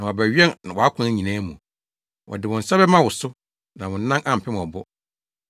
na wɔabɛwɛn wʼakwan nyinaa mu; wɔde wɔn nsa bɛma wo so, na wo nan ampem ɔbo.’ ”